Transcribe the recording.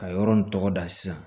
Ka yɔrɔ in tɔgɔ da sisan